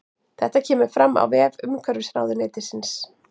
Þetta kemur fram á vef umhverfisráðuneytisins